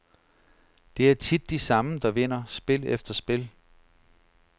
Det er tit de samme, der vinder spil efter spil.